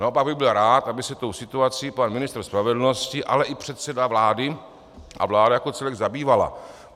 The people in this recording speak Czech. Naopak bych byl rád, aby se tou situací pan ministr spravedlnosti, ale i předseda vlády a vláda jako celek zabývali.